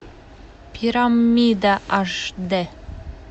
пирамида аш д